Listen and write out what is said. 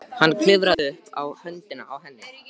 Hann klifrar upp á höndina á henni.